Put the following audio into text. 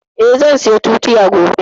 Eh, zan saya tutiya gobe